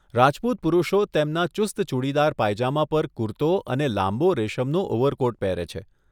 રાજપૂત પુરુષો તેમના ચુસ્ત ચૂડીદાર પાયજામા પર કુર્તો અને લાંબો રેશમનો ઓવરકોટ પહેરે છે.